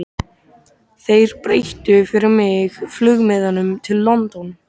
Þeir breyttu fyrir mig flugmiðanum til London.